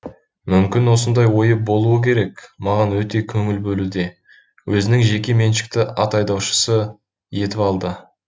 мүмкін осындай ойы болуы керек маған өте көңіл бөлуде өзінің жеке меншікті ат айдаушысы етіп алды